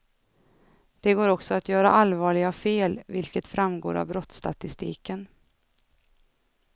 Det går också att göra allvarliga fel, vilket framgår av brottsstatistiken.